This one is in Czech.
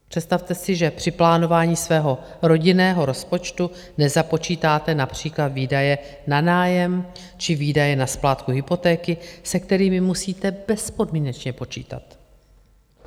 Představte si, že při plánování svého rodinného rozpočtu nezapočítáte například výdaje na nájem či výdaje na splátku hypotéky, se kterými musíte bezpodmínečně počítat.